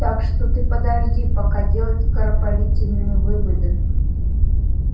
так что ты подожди пока делать скоропалительные выводы